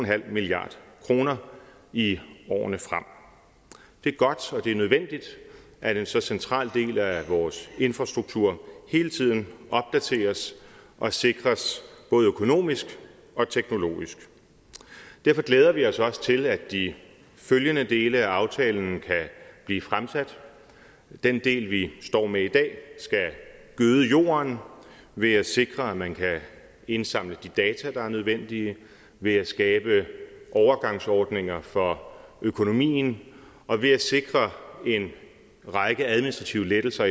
milliard kroner i årene frem det er godt og det er nødvendigt at en så central del af vores infrastruktur hele tiden opdateres og sikres både økonomisk og teknologisk derfor glæder vi os også til at de følgende dele af aftalen kan blive fremsat den del vi står med i dag skal gøde jorden ved at sikre at man kan indsamle de data der er nødvendige ved at skabe overgangsordninger for økonomien og ved at sikre en række administrative lettelser